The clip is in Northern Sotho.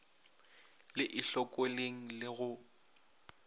le e hlokoleng le go